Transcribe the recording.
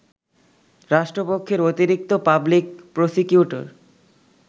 রাষ্ট্রপক্ষের অতিরিক্ত public prosecutor